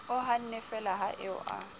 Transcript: o hannefeela ha eo a